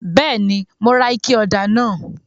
Bẹẹni, Mo rà ike ọda náà